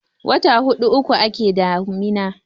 wata hudun uku ake damina